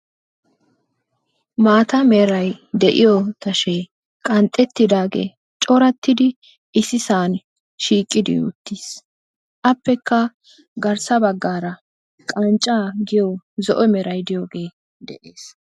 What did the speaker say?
Maata meray de'iyoo tashee qanxxettidaage corattidi issisan shiiqidi uttiis; appekka garssa baggara qancca giyo zo'o meray diyooge de'ees.